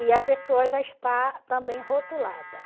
E a pessoa já está também rotulada.